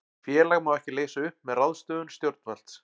Félag má ekki leysa upp með ráðstöfun stjórnvalds.